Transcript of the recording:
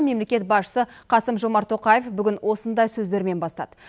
мемлекет басшысы қасым жомарт тоқаев бүгін осындай сөздермен бастады